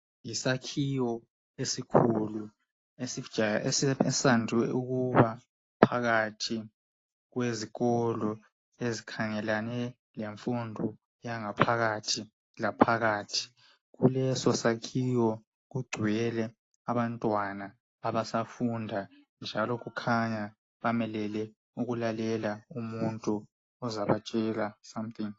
Yisakhiwo esikhulu esande ukuba phakathi kwezikolo ezikhangelane lemfundo yangaphakathi laphakathi. Kulesosakhiwo kugcwele abantwana abasafunda, njalo kukhanya bamelele ukulalela umuntu ozabatshela something.